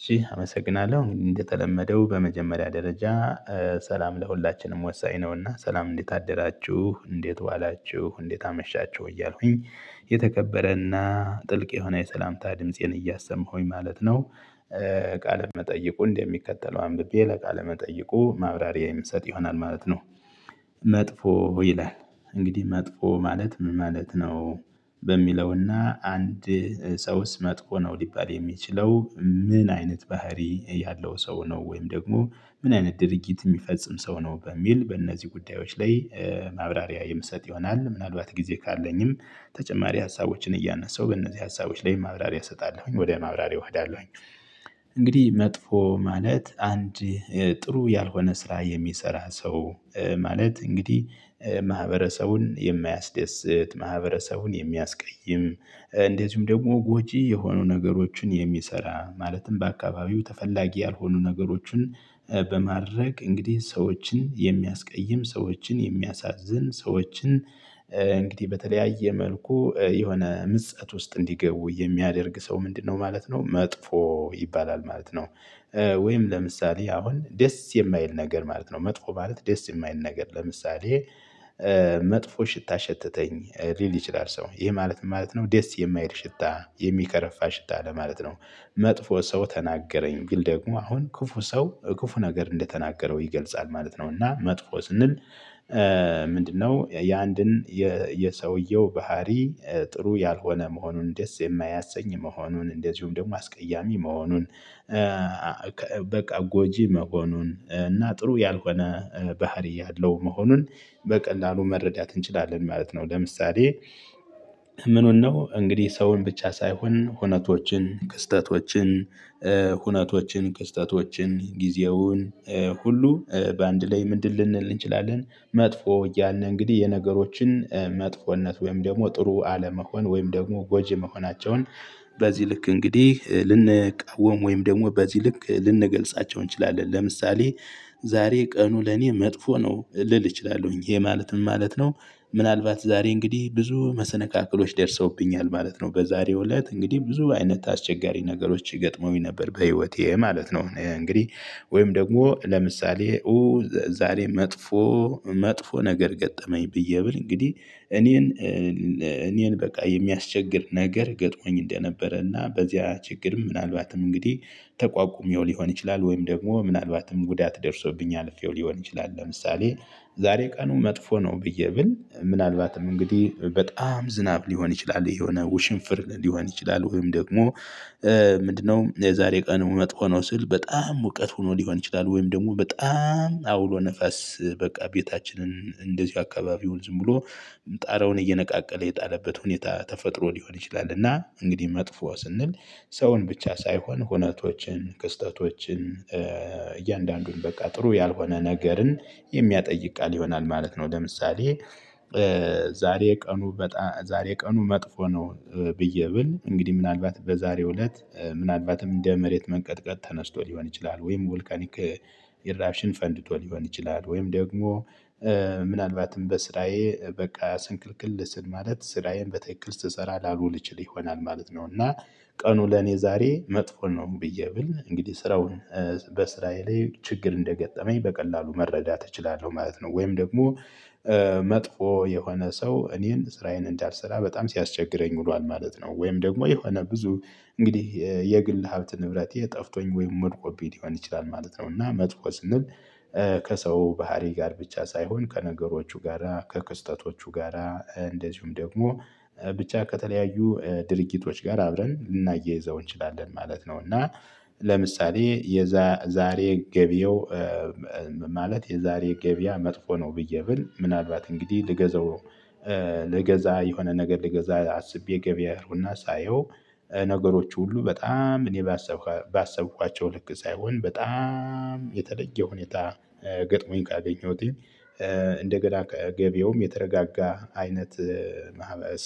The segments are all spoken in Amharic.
እሺ አመሰግናለሁ እንግዲህ እንደተለመደው በመጀመሪያ ደረጃ ሰላም ለሁላችንም ወሳኝ ነውና ሰላም እንዴት አደራችሁ እንዴት ዋላችሁ እንዴት አመሻችሁ እያልኩኝ የተከበረና ጥልቅ የሆነ የሰላምታ ድምፄን እያሰማሁኝ ማለት ነው። ቃለ መጠይቁ እንደሚከተለው አንብቤ ለቃለ መጠይቁ ማብራሪያ የምሰጥ ይሆናል ማለት ነው። መጥፎ ይላል እንግዲህ መጥፎ ማለት ምን ማለት ነው? በሚለውና አንድ ሰውስ መጥፎ ነው ሊባል የሚችለው ምን አይነት ባህሪ ያለው ሰው ነው ወይም ደግሞ ምን አይነት ድርጊት የሚፈጽም ሰው ነው በሚል በእነዚህ ጉዳዮች ላይ። ማብራሪያ የምሰጥ ይሆናል ምናልባት ጊዜ ካለኝም ተጨማሪ ሀሳቦችን እያነሳሁ በእነዚህ ሀሳቦች ላይ ማብራሪያ እሰጣለሁኝ ወደ ማብራሪያው ሄዳለሁኝ። እንግዲህ መጥፎ ማለት አንድ ጥሩ ያልሆነ ስራ የሚሰራ ሰው ማለት እንግዲህ ማህበረሰቡን የማያስደስት ማህበረሰቡን የሚያስቀይም እንደዚሁም ደግሞ ጎጂ የሆኑ ነገሮችን የሚሰራ ማለትም በአካባቢው ተፈላጊ ያልሆኑ ነገሮችን በማድረግ እንግዲህ ሰዎችን የሚያስቀይም ሰዎችን የሚያሳዝን ሰዎችን እንግዲህ በተለያየ መልኩ የሆነ ምጸት ውስጥ እንዲገቡ የሚያደርግ ሰው ምንድነው ማለት ነው መጥፎ ይባላል ማለት ነው። ወይም ለምሳሌ አሁን ደስ የማይል ነገር ማለት ነው መጥፎ ማለት ደስ የማይል ነገር ለምሳሌ። መጥፎ ሽታ ሸተተኝ ሊል ይችላል ሰው ይሄ ማለት ምን ማለት ነው ዴስ የማይል ሽታ የሚከረፋ ሽታ ለማለት ነው። መጥፎ ሰው ተናገረኝ ግን ደግሞ አሁን ክፉ ሰው ክፉ ነገር እንደተናገረው ይገልጻል ማለት ነው እና መጥፎ ስንል። ምንድነው የአንድን የሰውየው ባህሪ ጥሩ ያልሆነ መሆኑን ደስ የማያሰኝ መሆኑን እንደዚሁም ደግሞ አስቀያሚ መሆኑን። በቃ ጎጂ መሆኑን እና ጥሩ ያልሆነ ባህሪ ያለው መሆኑን በቀላሉ መረዳት እንችላለን ማለት ነው። ለምሳሌ ምኑን ነው እንግዲህ ሰውን ብቻ ሳይሆን ሁነቶችን ክስተቶችን ሁነቶችን ክስተቶችን ጊዜውን ሁሉ በአንድ ላይ ምንድን ልንል እንችላለን መጥፎ ያንን እንግዲህ የነገሮችን መጥፎነት ወይም ደግሞ ጥሩ አለመሆን ወይም ደግሞ ጎጂ መሆናቸውን። በዚህ ልክ እንግዲህ ልንቃወም ወይም ደግሞ በዚህ ልክ ልንገልጻቸው እንችላለን ለምሳሌ ዛሬ ቀኑ ለኔ መጥፎ ነው። ልል እችላለሁኝ ይሄ ማለት ምን ማለት ነው ምናልባት ዛሬ እንግዲህ ብዙ መሰነካክሎች ደርሰውብኛል ማለት ነው በዛሬው እለት እንግዲህ ብዙ አይነት አስቸጋሪ ነገሮች ይገጥመውኝ ነበር በህይወቴ ማለት ነው። እንግዲህ ወይም ደግሞ ለምሳሌ ዛሬ መጥፎ መጥፎ ነገር ገጠመኝ ብዬ ብል እንግዲህ እኔን እኔን በቃ የሚያስቸግር ነገር ገጥሞኝ እንደነበረና በዚያ ችግር ምናልባትም እንግዲህ ተቋቁሜው ሊሆን ይችላል ወይም ደግሞ ምናልባትም ጉዳት ደርሶብኝ አልፌው ሊሆን ይችላል። ለምሳሌ ዛሬ ቀኑ መጥፎ ነው ብዬ ብል ምናልባትም እንግዲህ በጣም ዝናብ ሊሆን ይችላል ይሄ የሆነ ውሽንፍር ሊሆን ይችላል ወይም ደግሞ ምንድነው የዛሬ ቀኑ መጥፎ ነው ስል በጣም ሙቀት ሆኖ ሊሆን ይችላል ወይም ደግሞ በጣም አውሎ ነፋስ በቃ ቤታችንን እንደዚሁ አካባቢውን ዝም ብሎ ጣራውን እየነቃቀለ የጣለበት ሁኔታ ተፈጥሮ ሊሆን ይችላል። እና እንግዲህ መጥፎ ስንል ሰውን ብቻ ሳይሆን ሁነቶችን ክስተቶችን እያንዳንዱን በቃ ጥሩ ያልሆነ ነገርን የሚያጠይቅ ቃል ይሆናል ማለት ነው። ለምሳሌ ዛሬ ቀኑ በጣ ዛሬ ቀኑ መጥፎ ነው። ብዬ ብል እንግዲህ ምናልባት በዛሬው እለት ምናልባትም እንደ መሬት መንቀጥቀጥ ተነስቶ ሊሆን ይችላል ወይም ቮልካኒክ ኢራብሽን ፈንድቶ ሊሆን ይችላል ወይም ደግሞ ምናልባትም በስራዬ በቃ ስንክልክል ስል ማለት ስራዬን በትክክል ስሰራ ላልውል እችል ይሆናል ማለት ነው። እና ቀኑ ለኔ ዛሬ መጥፎ ነው ብዬ ብል እንግዲህ ስራውን በስራዬ ላይ ችግር እንደገጠመኝ በቀላሉ መረዳት እችላለሁ ማለት ነው። ወይም ደግሞ መጥፎ የሆነ ሰው እኔን ስራዬን እንዳልሰራ በጣም ሲያስቸግረኝ ውሏል ማለት ነው። ወይም ደግሞ የሆነ ብዙ እንግዲህ የግል ሀብት ንብረቴ ጠፍቶኝ ወይም ወድቆብኝ ሊሆን ይችላል ማለት ነው። እና መጥፎ ስንል ከሰው ባህሪ ጋር ብቻ ሳይሆን ከነገሮቹ ጋራ ከክስተቶቹ ጋራ እንደዚሁም ደግሞ ብቻ ከተለያዩ ድርጊቶች ጋራ አብረን ልናያይዘው እንችላለን ማለት ነው። እና ለምሳሌ የዛ ዛሬ ገቢያው ማለት የዛሬ ገበያ መጥፎ ነው ብዬ ብል ምናልባት እንግዲህ ልገዛው ልገዛ የሆነ ነገር ልገዛ አስቤ ገበያሩና ሳየው ነገሮች ሁሉ በጣም እኔ ባሰብኩ ባሰብኳቸው ልክ ሳይሆን በጣም የተለየ ሁኔታ ገጥሞኝ ካገኘሁትኝ እንደገና ገበያውም የተረጋጋ አይነት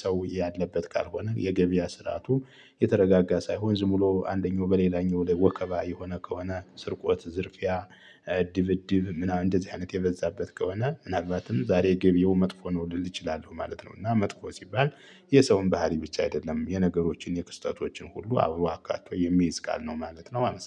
ሰው ያለበት ካልሆነ የገበያ ስርአቱም የተረጋጋ ሳይሆን ዝም ብሎ አንደኛው በሌላኛው ላይ ወከባ የሆነ ከሆነ ስርቆት ዝርፊያ ድብድብ ምናምን እንደዚህ አይነት የበዛበት ከሆነ ምናልባትም ዛሬ ገቢያው መጥፎ ነው ልል እችላለሁ ማለት ነው። እና መጥፎ ሲባል የሰውን ባህሪ ብቻ አይደለም የነገሮችን የክስተቶችን ሁሉ አውሮ አካቶ የሚይዝ ቃል ነው ማለት ነው። አመሰግናለሁ